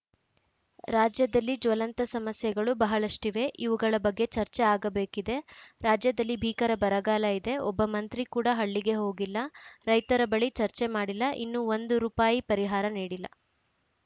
ರಾಜ್ಯದಲ್ಲಿ ಜ್ವಲಂತ ಸಮಸ್ಯೆಗಳು ಬಹಳಷ್ಟಿವೆ ಇವುಗಳ ಬಗ್ಗೆ ಚರ್ಚೆ ಆಗಬೇಕಿದೆ ರಾಜ್ಯದಲ್ಲಿ ಭೀಕರ ಬರಗಾಲ ಇದೆ ಒಬ್ಬ ಮಂತ್ರಿ ಕೂಡ ಹಳ್ಳಿಗೆ ಹೋಗಿಲ್ಲ ರೈತರ ಬಳಿ ಚರ್ಚೆ ಮಾಡಿಲ್ಲ ಇನ್ನು ಒಂದು ರುಪಾಯಿ ಪರಿಹಾರ ನೀಡಿಲ್ಲ